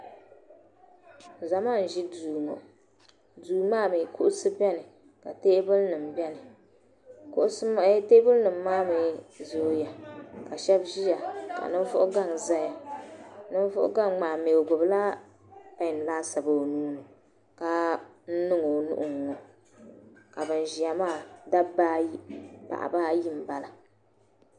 zama n-ʒi duu ŋɔ duu maa mi kuɣisi beni ka teebulinima beni kuɣisi eeh teebulinima maa mi zooya ka shɛba ʒia ka ninvuɣ' gaŋa zaya ninvuɣ' gaŋa maa mi o gbubila pɛn laasabu o nuu ni ka niŋ o nuhi ŋ-ŋɔ ka ban ʒia maa dabba ayi paɣiba ayi m-bala